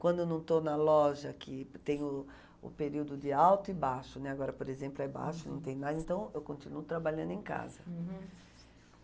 Quando eu não estou na loja, que tem o o período de alto e baixo, né, agora, por exemplo, é baixo, não tem mais, então eu continuo trabalhando em casa. Uhum